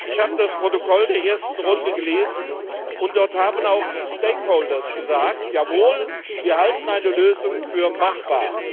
Ich habe das Protokoll der ersten Runde gelesen, und dort haben auch die Stakeholder gesagt Jawohl, wir halten eine Lösung für machbar.